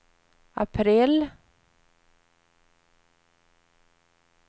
april